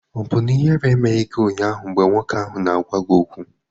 Ọ̀ bụ na ihere emeghị gị ụnyaahụ mgbe nwoke ahụ na-agwa gị okwu?